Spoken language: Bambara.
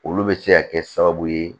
Olu bɛ se ka kɛ sababu ye